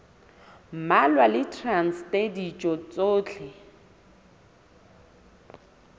mmalwa le traste ditho tsohle